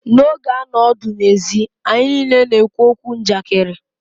N'oge a nọ ọdụ ezi, anyị niile na-ekwu okwu Njakịrị.